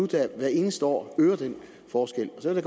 der hvert eneste år øger den forskel og så vil